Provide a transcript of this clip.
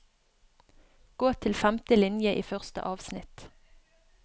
Gå til femte linje i første avsnitt